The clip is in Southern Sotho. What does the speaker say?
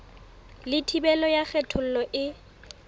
le thibelo ya kgethollo e